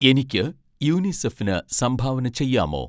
എനിക്ക് യുനിസെഫിന് സംഭാവന ചെയ്യാമോ